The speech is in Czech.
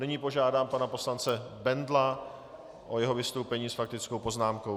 Nyní požádám pana poslance Bendla o jeho vystoupení s faktickou poznámkou.